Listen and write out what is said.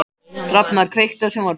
Hrafnar, kveiktu á sjónvarpinu.